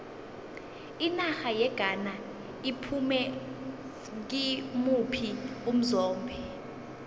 inarha yeghana iphume kimuphi umzombe